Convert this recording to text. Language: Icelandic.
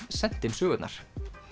sent inn sögurnar